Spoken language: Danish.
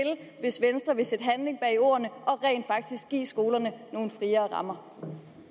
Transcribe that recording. hvis venstre vil sætte handling bag ordene og rent faktisk give skolerne nogle friere